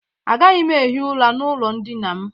Agaghị m ehi ụra n'ụlọ ndịna m.